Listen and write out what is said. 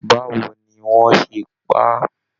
Báwo ní wọn ṣe pá a?